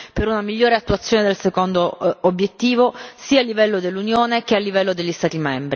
per una migliore attuazione del secondo obiettivo, sia a livello dell'Unione sia a livello degli Stati.